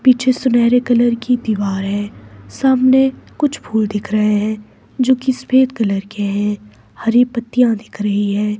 पीछे सुनहरे कलर की दीवार है सामने कुछ फूल दिख रहे हैं जो कि सफेद कलर के हैं हरी पत्तियाँ दिख रही है।